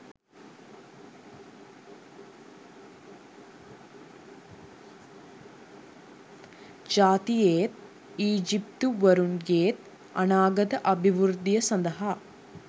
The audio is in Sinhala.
ජාතියේත් ඊජිප්තුවරුන්ගේත් අනාගත අභිවෘද්ධිය සඳහා